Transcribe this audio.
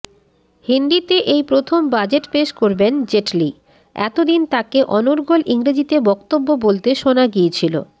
হিন্দিতে এই প্রথম বাজেট পেশ করবেন জেটলি এতদিন তাঁকে অনর্গল ইংরেজিতে বক্তব্য বলতে শোনা গিয়েছিল